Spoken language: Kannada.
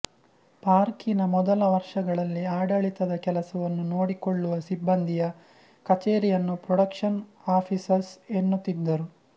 ಪಾರ್ಕಿನ ಮೊದಲ ವರ್ಷಗಳಲ್ಲಿ ಆಡಳಿತದ ಕೆಲಸವನ್ನು ನೋಡಿಕೊಳ್ಳುವ ಸಿಬ್ಬಂದಿಯ ಕಛೇರಿಯನ್ನು ಪ್ರೊಡಕ್ಷನ್ ಆಫಿಸಸ್ ಎನ್ನುತ್ತಿದ್ದರು